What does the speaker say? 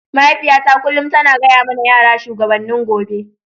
Mahaifiyata kullum tana gaya mana yara shugabannin gobe.